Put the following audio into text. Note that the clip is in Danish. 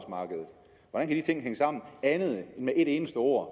og her ting hænge sammen andet end med et eneste ord